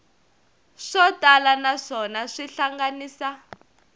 swo tala naswona xi hlanganisa